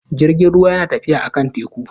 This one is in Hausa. Jirgin ruwa yana tafiya a kan teku